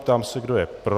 Ptám se, kdo je pro.